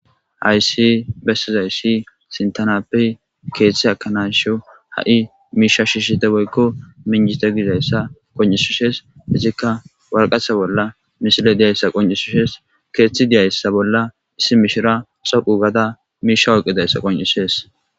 Hayssi bessizayssi sintanappe ekanayasho ha7i miishsha shiishshite woykko minjite gizayssa qoncishishe waraqata bolla misiley diyaysa qoncishishees.keeththi dizaysa bolla issi mishira miishsha oyqqidayssa qoncishshes.